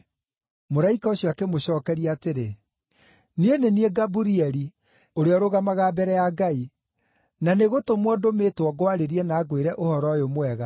Mũraika ũcio akĩmũcookeria atĩrĩ, “Niĩ nĩ niĩ Gaburieli, ũrĩa ũrũgamaga mbere ya Ngai, na nĩ gũtũmwo ndũmĩtwo ngwarĩrie na ngwĩre ũhoro ũyũ mwega.